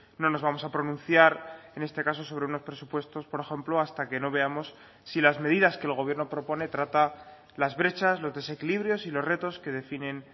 no nos vamos a pronunciar en este caso sobre unos presupuestos por ejemplo hasta que no veamos si las medidas que el gobierno propone trata las brechas los desequilibrios y los retos que definen